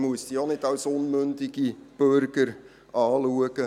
Man muss sie also auch nicht als unmündige Bürger betrachten.